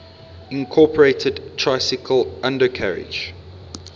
incorporated tricycle undercarriage